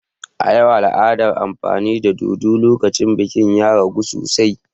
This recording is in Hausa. A yau, al'adar amfani da dodo lokacin biki ya ragu sosai.